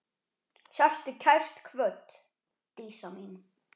Sértu kært kvödd, Dísa mín.